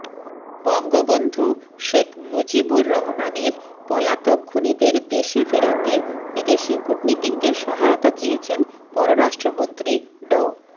বঙ্গবন্ধু শেখ মুজিবুর রহমানের পলাতক খুনিদের দেশে ফেরাতে বিদেশি কূটনীতিকদের সহায়তা চেয়েছেন পররাষ্ট্রমন্ত্রী ড